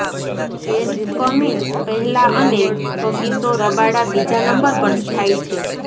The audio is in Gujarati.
પેટ કમિન્સ પહેલા અને કગિસો રબાડા બીજા નંબર પર સ્થાયી છે